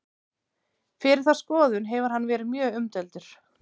fyrir þá skoðun hefur hann verið mjög umdeildur